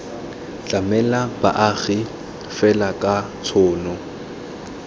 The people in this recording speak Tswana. tlamela baagi fela ka tshono